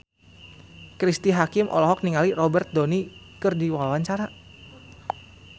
Cristine Hakim olohok ningali Robert Downey keur diwawancara